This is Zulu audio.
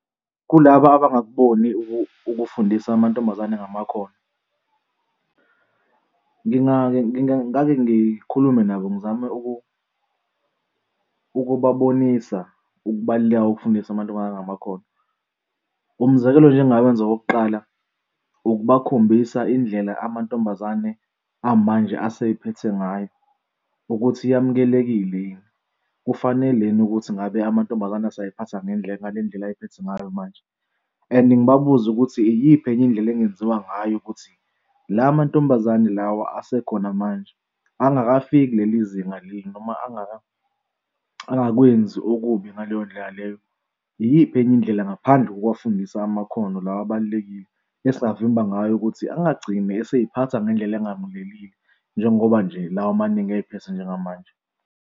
Kulaba abangakuboni ukufundisa amantombazane ngamakhono. Ngingake ngingake ngikhulume nabo, ngizame ukubabonisa ukubaluleka kokufundisa amantombazane ngamakhono. Umzekelo nje engingawenza wokuqala ukubakhombisa indlela amantombazane amanje asey'phethe ngayo ukuthi yamukelekile yini? Kufanele yini ukuthi ngabe amantombazane useyiphatha ngendlela ngale ndlela, ayiphethe ngayo manje? And ngibabuze ukuthi iyiphi enye indlela ekungenziwa ngayo ukuthi la mantombazane lawa asekhona manje angakafiki kuleli zinga leli noma angakwenzi okubi ngaleyo ndlela leyo iyiphi enye indlela ngaphandle ngokuwafundisa amakhono lawa abalulekile esingavimba ngayo ukuthi angagcini esiy'phatha ngendlela engamukelekile njengoba nje lawa amaningi ey'phethe njengamanje.